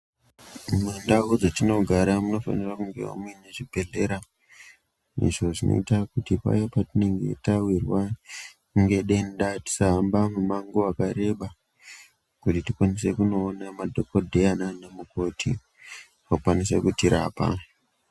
Mumandau dzetinogara munofanirwa kunge muine chibhedhlera. Izvo zvinoite kuti paya petinenge tawiwa ngedenda tisahamba mumango wakareba kuti tikwanise kunoona madhogodheya nanamukoti, vakwanise kutirapa.